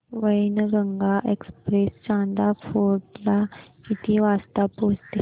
Wainganga express Chanda fort ला किती वाजता पोहचते